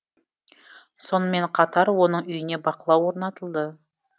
сонымен қатар оның үйіне бақылау орнатылды